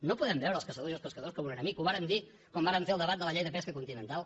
no podem veure els caçadors i els pescadors com un enemic ho vàrem dir quan vàrem fer el debat de la llei de pesca continental